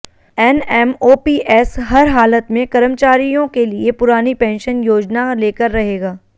NMOPS हर हालत में कर्मचारियों के लिए पुरानी पेंशन योजना लेकर रहेगा